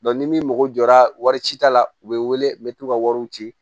ni min mago jɔra wari cita la u bɛ wele bɛ t'u ka wariw ci